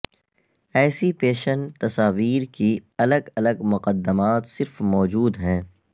ایسی پیشن تصاویر کی الگ الگ مقدمات صرف موجود ہیں